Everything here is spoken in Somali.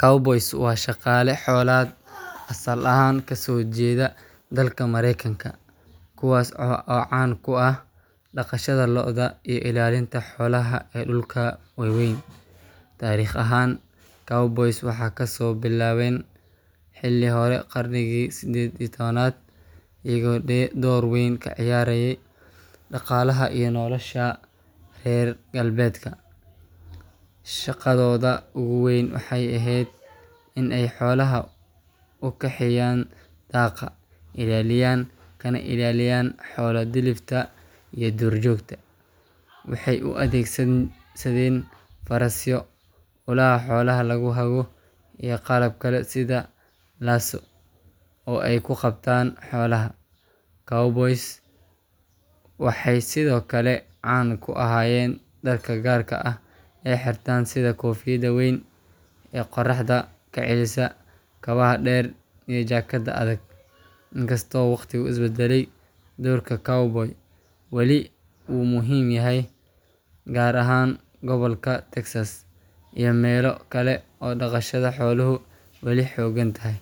Cowboys waa shaqaale xoolaad asal ahaan kasoo jeeda dalka Mareykanka, kuwaas oo caan ku ahaa dhaqashada lo’da iyo ilaalinta xoolaha ee dhulalka waaweyn. Taariikh ahaan, cowboys waxay kasoo bilaabeen xilli hore qarnigii 18aad, iyagoo door weyn ka ciyaarayay dhaqaalaha iyo nolosha reer galbeedka. Shaqadooda ugu weyn waxay ahayd in ay xoolaha u kaxeeyaan daaqa, ilaaliyaan, kana ilaaliyaan xoolo-dhilifta iyo duurjoogta. Waxay u adeegsadeen farasyo, ulaha xoolaha lagu hago, iyo qalab kale sida lasso oo ay ku qabtaan xoolaha. Cowboys waxay sidoo kale caan ku ahaayeen dharka gaarka ah ee ay xirtaan sida koofiyadda weyn ee qorraxda ka celisa, kabaha dheer iyo jaakadaha adag. Inkastoo waqtigu is beddelay, doorka cowboys wali wuu muhiim yahay, gaar ahaan gobolka Texas iyo meelo kale oo dhaqashada xooluhu weli xooggan tahay.